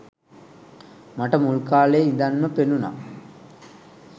මට මුල් කාලෙ ඉඳන්ම පෙනුනා